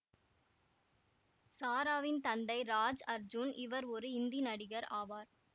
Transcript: சாராவின் தந்தை ராஜ் அர்ஜுன் இவர் ஒரு இந்தி நடிகர் ஆவார்